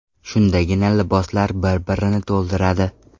Shundagina liboslar bir-birini to‘ldiradi.